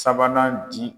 Sabanan di